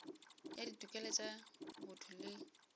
ya ditokelo tša botho le